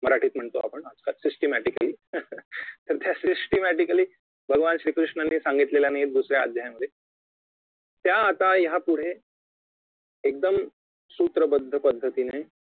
मराठीत म्हणतो आपण systematically तर त्या systematically भगवान श्री कृष्णांनी सांगितलेल्या नाही दुसऱ्या अध्यायामध्ये त्या आता यापुढे एकदम सूत्रबद्धपद्धतीने